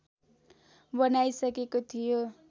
बनाइसकेको थियो